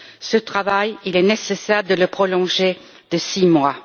Ce travail, il est nécessaire de le prolonger de six mois.